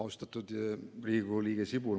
Austatud Riigikogu liige Sibul!